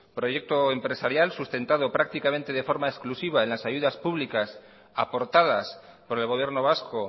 proyecto empresarial sustentado prácticamente de forma exclusiva en las ayudas públicas aportadas por el gobierno vasco